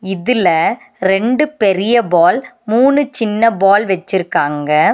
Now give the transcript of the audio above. இதுல ரெண்டு பெரிய பால் மூணு சின்ன பால் வெச்சிருக்காங்க.